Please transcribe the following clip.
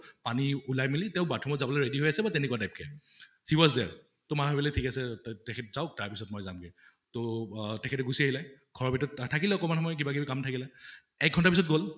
পানী উলাই মেলি তেওঁ bathroom অত যাবলৈ ready হৈ আছে বা তেনেকুৱা type she was there, তʼ মা ভাবিলে ঠিক আছে তেখেত যাৱক তাৰ পিছত মই যাম্গে। তʼ অহ তেখেতে গুছি আছিলে। ঘৰৰ ভিতৰত থাকিলে অকমান সময় কিবা কিবি কাম থাকিলে। এক ঘন্টা পিছত গʼল